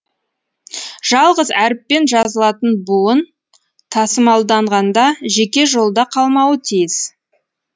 жалғыз әріппен жазылатын бұуын тасымалданғанда жеке жолда қалмауы тійіс